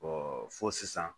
fo sisan